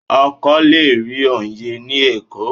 O kò le rí Ọyẹ́ ni Èkó.